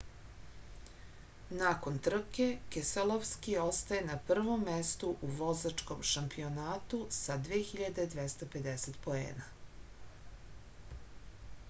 nakon trke keselovski ostaje na prvom mestu u vozačkom šampionatu sa 2250 poena